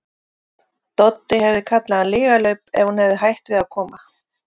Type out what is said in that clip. Doddi hefði kallað hann lygalaup ef hún hefði hætt við að koma.